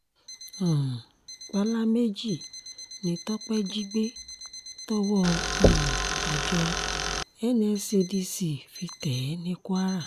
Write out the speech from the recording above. um pàlà méjì ni tọ́pẹ́ jí gbé tọwọ́ um àjọ nscdc fi tẹ̀ ẹ́ ní kwara